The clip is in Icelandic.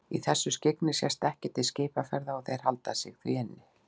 Í þessu skyggni sést ekkert til skipaferða og þeir halda sig því inni.